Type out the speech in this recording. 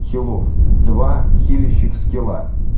хилов два хелищих скилла